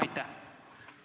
Aitäh!